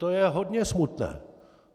To je hodně smutné!